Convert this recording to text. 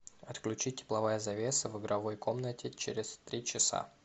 отключить тепловая завеса в игровой комнате через три часа